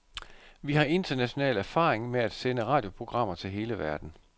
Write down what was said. Vi har international erfaring med at sende radioprogrammer til hele verden.